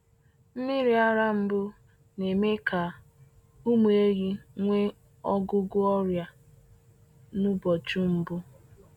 Nmiri ara mbụ na-eme ka ụmụ ehi nwee ọgụgụ ọrịa n’ụbọchị mbụ.